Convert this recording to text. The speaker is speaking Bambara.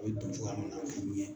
A bɛ don cogoya min na ye.